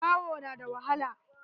Zawo na da wahala.